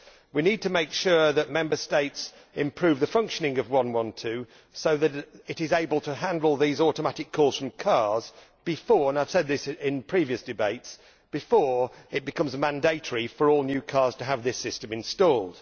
We need to make sure that Member States improve the functioning of 112 so that it is able to handle these automatic calls from cars before and I have said this in previous debates before it becomes mandatory for all new cars to have this system installed.